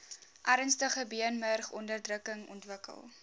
ernstige beenmurgonderdrukking ontwikkel